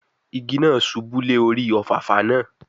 Igi náà ṣubú lé orí Òfàfà náà